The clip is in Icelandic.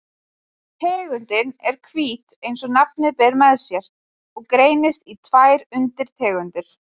Tegundin er hvít eins og nafnið ber með sér og greinist í tvær undirtegundir.